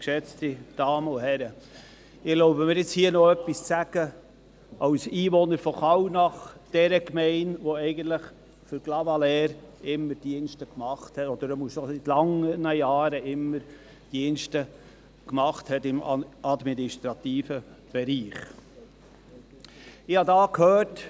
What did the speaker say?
Ich erlaube mir nun, hier als Einwohner von Kallnach, jener Gemeinde die eigentlich für Clavaleyres seit langen Jahren immer Dienste im administrativen Bereich geleistet hat, noch etwas zu sagen.